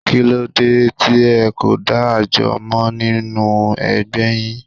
Kí ló dé tí ẹ kò dá àjọ mọ́ nínú ẹgbẹ́ yín?